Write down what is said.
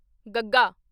ਗੱਗਾ